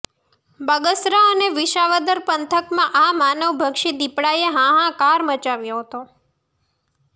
બગસરા અને વિસાવદર પંથકમાં આ માનવભક્ષી દિપડાએ હાહાકાર મચાવ્યો હતો